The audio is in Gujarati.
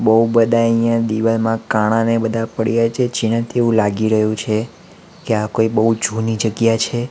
બહુ બધા આઈયા દિવાલમાં કાણા ને બધા પડ્યા છે જેનાથી એવું લાગી રહ્યું છે કે આ કોઈ બહુ જુની જગ્યા છે.